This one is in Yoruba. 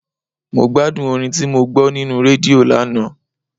Mo gbádùn orin tí mo gbọ́ nínú rédíò lánàá.